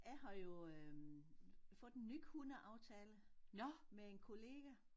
Jeg har jo øh fået en ny hundeaftale med en kollega